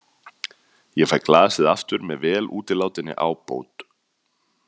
Ég fæ glasið aftur með vel útilátinni ábót.